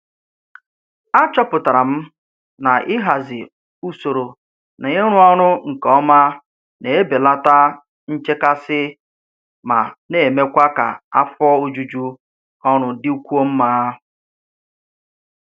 Achọpụtara m na ịhazi usoro na ịrụ ọrụ nke ọma na-ebelata nchekasị ma na-emekwa ka afọ ojuju ọrụ dịkwuo mma.